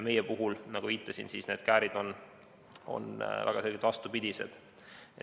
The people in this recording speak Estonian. Meil, nagu viitasin, on need käärid väga selgelt vastupidised.